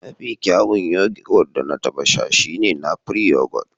Mafi kyawun yoghurt da na taɓa sha shine napri yoghurt